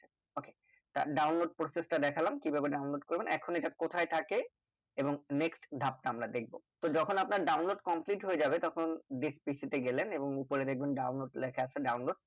ok তা download process টা দেখলাম কিভাবে download করবেন এখন এটা কোথায় থাকে এবং next ধাপ তা আমরা দেখবো তো যখন আপনার download complete হয়ে যাবে তখন thisPC তে গেলেন এবং ওপরে দেখবেন download লেখা আছে download